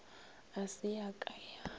ga se ya ka ya